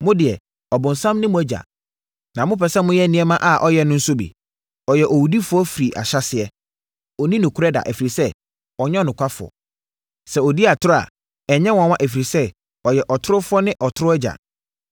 Mo deɛ, ɔbonsam ne mo agya, na mopɛ sɛ moyɛ nneɛma a ɔyɛ no nso bi. Ɔyɛ owudifoɔ firi ahyɛaseɛ. Ɔnni nokorɛ da, ɛfiri sɛ, ɔnyɛ ɔnokwafoɔ. Sɛ ɔdi atorɔ a, ɛnyɛ nwanwa ɛfiri sɛ, ɔyɛ ɔtorofoɔ ne atorɔ agya.